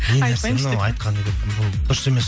не нәрсе мынау айтқаны деп бұл дұрыс емес